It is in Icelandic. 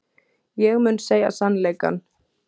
Ég mun segja sannleikann.